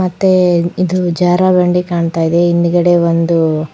ಮತ್ತೆ ಇದು ಜಾರ ಬಂಡಿ ಕಾಣ್ತಾ ಇದೆ ಹಿಂದುಗಡೆ ಒಂದು --